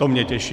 To mě těší.